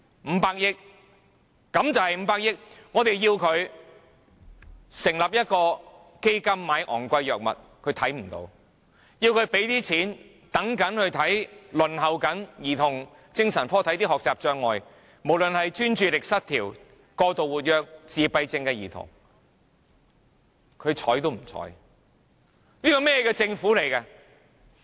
我們要求政府成立一個基金用來購買昂貴藥物，但它看不到；我們要求它撥款給輪候兒童精神科醫治學習障礙，無論是專注力失調、過度活躍或自閉症的兒童，但它毫不理睬。